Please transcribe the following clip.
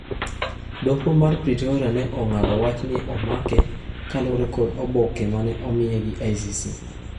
Doho mar Pretoria ne ong'ado wach ni omake kaluwore kod oboke mane omiye gi ICC.